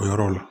O yɔrɔ la